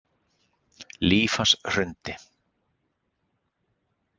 Líf hans hrundi